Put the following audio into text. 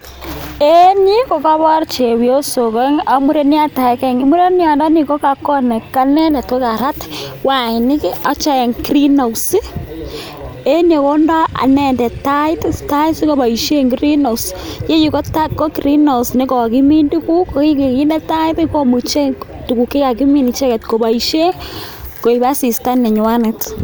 En yu kokobor chepyosok oeng' ak mureniot agenge, mureniondoni kokarat wainik en Greenhouse, en yu kondo inendet tait sikoboisien Greenhouse ,iyeyu kokokimin tuguk konginde tait komuche tuguk chekakimin icheget koboisien koik asista nenywanet.